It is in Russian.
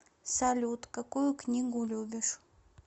салют какую книгу любишь